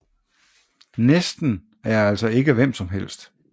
Næsten er altså ikke hvem som helst